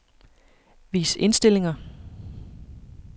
Vis indstillinger.